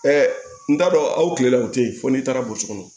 n t'a dɔn aw tile la o tɛ yen fo n'i taara boso kɔnɔ